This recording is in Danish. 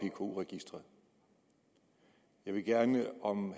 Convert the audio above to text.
pku registreret jeg ville gerne om